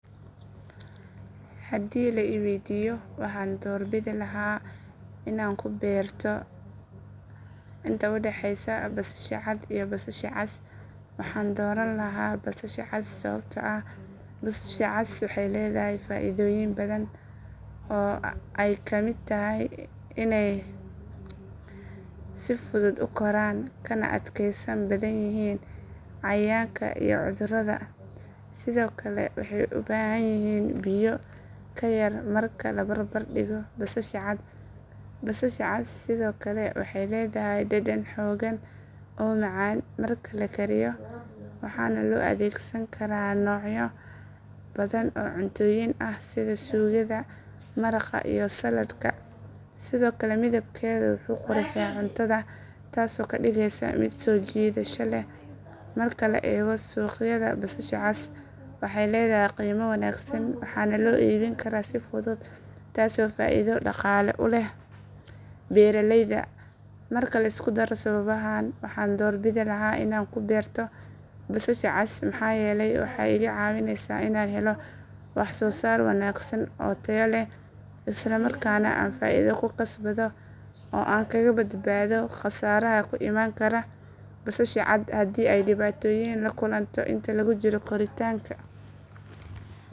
Haddii la i waydiiyo maxaan doorbidi lahaa inaan ku beerato inta u dhaxaysa basasha cad iyo basasha cas waxaan dooran lahaa basasha cas sababtoo ah basasha cas waxay leedahay faa’iidooyin badan oo ay ka mid tahay in ay si fudud u koraan kana adkaysan badan yihiin cayayaanka iyo cudurrada sidoo kale waxay u baahan yihiin biyo ka yar marka la barbar dhigo basasha cad basasha cas sidoo kale waxay leedahay dhadhan xooggan oo macaan marka la kariyo waxaana loo adeegsan karaa noocyo badan oo cuntooyin ah sida suugada maraqa iyo saladka sidoo kale midabkeeda wuxuu qurxiyaa cuntada taasoo ka dhigaysa mid soo jiidasho leh marka la eego suuqyada basasha cas waxay leedahay qiimo wanaagsan waxaana loo iibin karaa si fudud taasoo faa’iido dhaqaale u leh beeraleyda marka la isku daro sababahan waxaan doorbidi lahaa inaan ku beerto basasha cas maxaa yeelay waxay iga caawinaysaa inaan helo waxsoosaar wanaagsan oo tayo leh isla markaana aan faa’iido ku kasbado oo aan kaga badbaado khasaaraha ku imaan kara basasha cad haddii ay dhibaatooyin la kulanto inta lagu jiro koritaanka ama goosashada